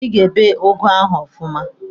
Ị ga-ebe ụgụ ahụ ọfụma!